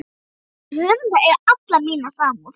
Þessir höfundar eiga alla mína samúð.